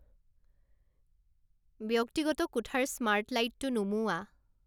ব্যক্তিগত কোঠাৰ স্মাৰ্ট লাইটটো নুমুওৱা